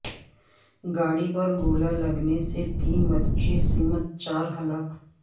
گاڑی پر گولہ لگنے سے تین بچوں سمیت چار ہلاک